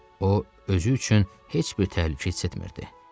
O, özü üçün heç bir təhlükə hiss etmirdi.